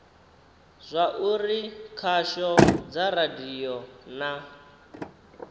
zwauri khasho dza radio na